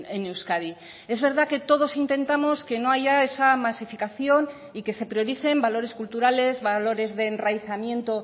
en euskadi es verdad que todos intentamos que no haya esa masificación y que se prioricen valores culturales valores de enraizamiento